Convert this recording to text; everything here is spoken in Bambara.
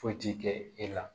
Foyi ti kɛ e la